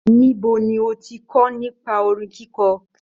Níbo ni o kọ nípa orin kikọ?